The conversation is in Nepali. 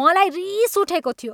मलाई रिस उठेको थियो।